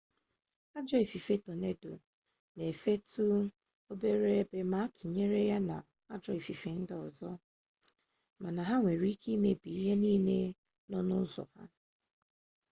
ajọọ ifufe tonedo na-efetu obere ebe ma ịtụnyere ya na ajọọ ifufe ndị ọzọ mana ha nwere ike imebi ihe niile nọ n'ụzọ ha